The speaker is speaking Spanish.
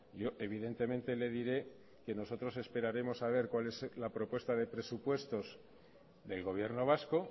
yo evidentemente le diré que nosotros esperaremos a ver cuál es la propuesta de presupuestos del gobierno vasco